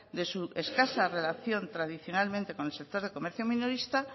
de su escasa relación tradicionalmente con el sector de comercio minorista